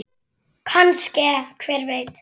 Kannske- hver veit?